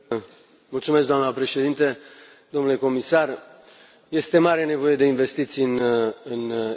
Doamnă președintă, domnule comisar, este mare nevoie de investiții în Europa.